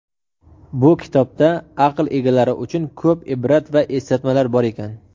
Bu kitobda aql egalari uchun ko‘p ibrat va eslatmalar bor ekan.